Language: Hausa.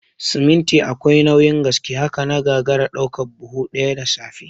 Siminti akwai nauyin gaske, haka na gagara ɗaukan buhu ɗaya da safe